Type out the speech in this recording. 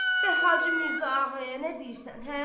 Bəs Hacı Mirzə Ağaya nə deyirsən, hə?